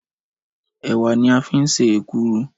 Ẹ̀wà ni a fín ṣe èkuru